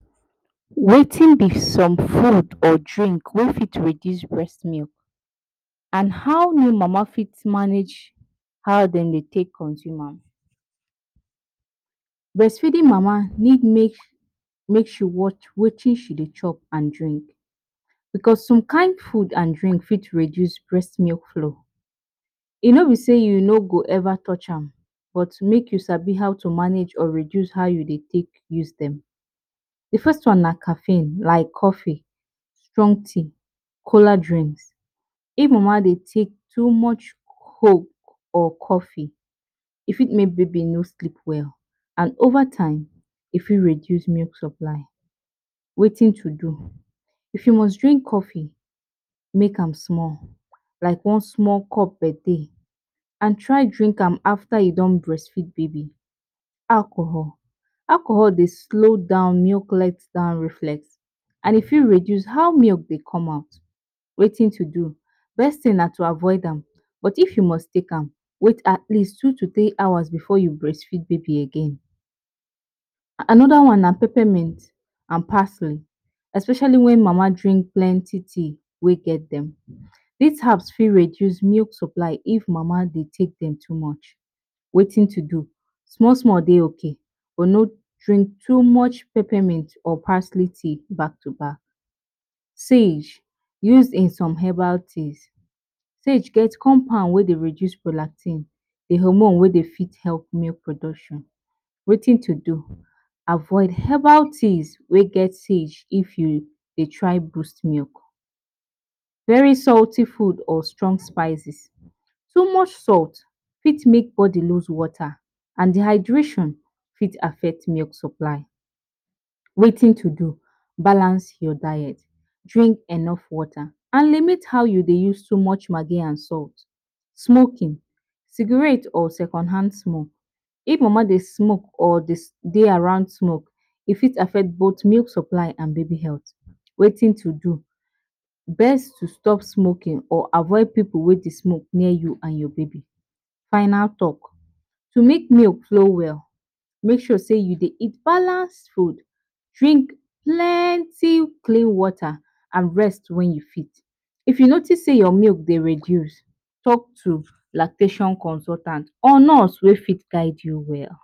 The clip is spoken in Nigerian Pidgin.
Wetin b some foods or drinks wey fit reduce breast milk and how we mama fit manage how dem Dey take consume am breast feeding mama need make she Dey watch Wetin she Dey take and drink because some kind food and drinks fit reduce breast flow e no be say you no go ever touch am but make sabi how to manage or reduce how you Dey take dem. The first one na coffee, strong tea, cola drink even ma sef dem Dey take too much coke or coffee e fit make baby no sleep well and over time e fit reduce milk supply Wetin to do, if you must drink coffee make an small like one small cup per day and try drink am after you don breast feed baby. Alcohol, alcohol Dey slow down milk let down reflect and e fit reduce how milk Dey come out. Wetin to do, first thing na to avoid am but if you must take am wait atleast two to three hours before breast feed baby again, anoda one na pepper mint and parsley especially wen mama drink plenty tea wey get dem, dis herbs if reduce milk supply if mama Dey take dem too much, Wetin to do, small small Dey ok but no drink too much peppermint or parsley tea back to back. Sage used in some herbs teas, sage get compound wey Dey reduce prolactin d compound wey Dey help breast milk production, Wetin to do, avoid herbal teas wey get sage if u Dey try boost milk. Very salty food or strong spices, too much salt for make body loose water and dehydration fit affect milk supply Wetin to do, balance your diet, drink enough water and limit how u Dey use Maggie and salt. Smoking, cigarettes or second hand smoke, if mama Dey smoke or Dey around smoke e fit affect both milk supply and baby health. Wetin to do, best to stop smoking or avoid pipu wey Dey smoke near u and your baby. Final talk, to make sure say milk flow well make sure say u Dey eat balance food, drink plenty clean water and rest wen u fit. If u notice say your milk Dey reduce talk to lactation consultant or nurse wey for guide u well.